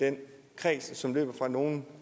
den kreds som løber fra nogen